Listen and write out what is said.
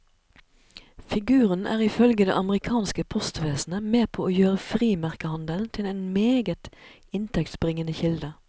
Figuren er ifølge det amerikanske postvesenet med på å gjøre frimerkehandelen til en meget inntektsbringende kilde.